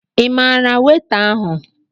Ị maara weta ahụ?